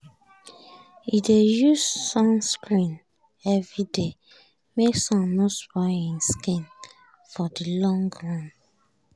e dey use sunscreen every day make sun no spoil im skin for the long run